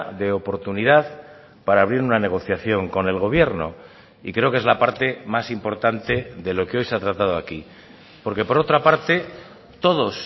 de oportunidad para abrir una negociación con el gobierno y creo que es la parte más importante de lo que hoy se ha tratado aquí porque por otra parte todos